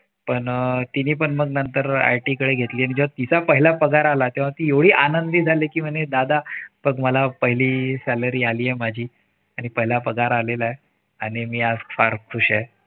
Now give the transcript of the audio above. पण मग तिनी पण नंतर IT कडे घेतली आणि जेव्हा तिचा पहिला पगार आला तेव्हा ती एवढी आनंदी झाली कि म्हणे दादा बघ मला पहिली salary आलेय माझी आणि पहिला पगार आलेलाय आणि मी आज फार खुश हाय.